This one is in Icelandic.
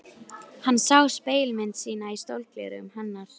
Hann sá spegilmynd sína í sólgleraugunum hennar.